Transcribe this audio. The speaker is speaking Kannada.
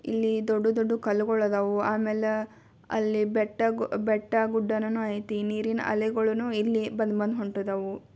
ಇಲ್ಲಿ ದೊಡ್ಡ ದೊಡ್ಡ ಕಲ್ಲುಗಳು ಅದಾವೋ. ಆಮೇಲ ಅಲ್ಲಿ ಬೆಟ್ಟ-ಬೆಟ್ಟ ಗುಡ್ಡಗಳು ಐತಿ ಇಲ್ಲಿ ನೀರಿನ ಅಲೆಗಳನ್ನು ಇಲ್ಲಿ ಬಂದು ಬಂದು ಹೊಂಟ್ಟದವು